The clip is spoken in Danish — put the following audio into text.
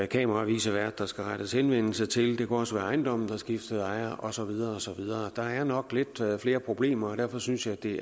kameravicevært der skal rettes henvendelse til det kunne også være ejendommen der skiftede ejer og så videre og så videre der er nok lidt flere problemer og derfor synes jeg at det